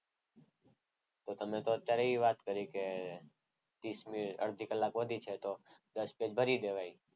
તો તમે તો અત્યારે એ વાત કરી કે અડધી કલાક વધી છે તો દસ પેજ ભરી દેવાય.